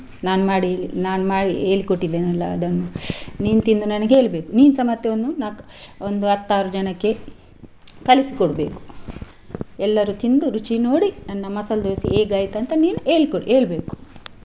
ನಾನು ಮಾಡಿ, ನಾನು ಮಾಡಿ, ಹೇಳ್ಕೊಟ್ಟಿದ್ದೇನಲ್ಲ ಅದನ್ನು ನೀನು ತಿಂದು ನನಗೆ ಹೇಳ್ಬೇಕು ನಿನ್ಸ ಮತ್ತೆ ಒಂದು ನಾಲ್ಕು ಒಂದು ಹತ್ತಾರು ಜನಕ್ಕೆ ಕಲಿಸಿ ಕೋಡ್ಬೇಕು. ಎಲ್ಲರೂ ತಿಂದು ರುಚಿ ನೋಡಿ ನನ್ನ ಮಸಾಲಾ ದೋಸಾ ಹೇಗೆ ಆಯ್ತು ಅಂತ ನೀನು ಹೇಳ್ಕೊಡು ಹೇಳ್ಬೇಕು.